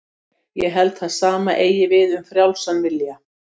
Ég held að það sama eigi við um frjálsan vilja.